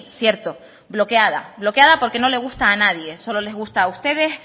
cierto bloqueada bloqueada porque no le gusta a nadie solo les gusta a ustedes